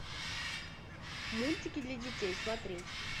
мультики для детей смотреть